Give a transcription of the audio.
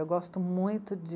Eu gosto muito de...